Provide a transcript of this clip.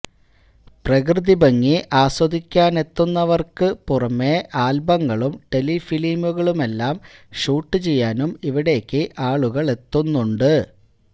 പ്രകൃതി ഭംഗി ആസ്വദിക്കാനെത്തുന്നവര്ക്ക് പുറമെ ആല്ബങ്ങളും ടെലിഫിലിമുകളുമെല്ലാം ഷൂട്ട് ചെയ്യാനും ഇവിടേക്ക് ആളുകളെത്തുന്നുണ്ട്